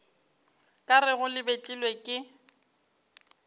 ka rego le betlilwe ke